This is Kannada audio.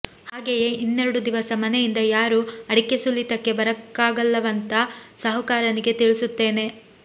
ಹಾಗೇ ಇನ್ನೆರಡು ದಿವಸ ಮನೆಯಿಂದ ಯಾರೂ ಅಡಿಕೆ ಸುಲಿತಕ್ಕೆ ಬರಕ್ಕಾಗಲ್ಲವಂತ ಸಾಹುಕಾರನಿಗೆ ತಿಳಿಸುತ್ತೇನೆ